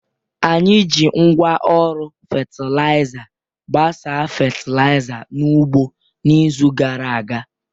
Anyị ji ngwa oru fatịlaịza gbasaa fatịlaịza n'ugbo n'izu gara aga.